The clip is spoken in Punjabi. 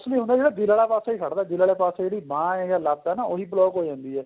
mostly ਹੁੰਦਾ ਨਾ ਦਿਲ ਵਾਲਾ ਪਾਸਾ ਹੀ ਖੜਦਾ ਦਿਲ ਵਾਲੇ ਪਾਸੇ ਜਿਹੜੀ ਬਾਂਹ ਏ ਜਾਂ ਲੱਤ ਏ ਉਹੀ block ਹੋ ਜਾਂਦੀ ਏ